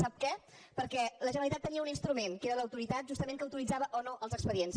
sap què perquè la generalitat tenia un instrument que era l’autoritat justament que autoritzava o no els expedients